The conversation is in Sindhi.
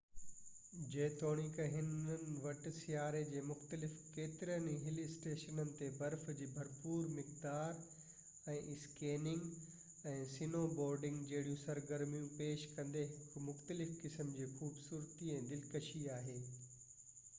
جيتوڻيڪ انهن وٽ سياري جي دوران ڪيترن ئي هِل اسٽيشنن تي برف جي ڀرپور مقدار ۽ اسڪيئنگ ۽ سنوبورڊنگ جهڙيون سرگرميون پيش ڪندي هڪ مختلف قسم جي خوبصورتي ۽ دلڪشي آهي